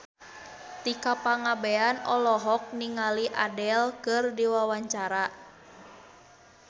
Tika Pangabean olohok ningali Adele keur diwawancara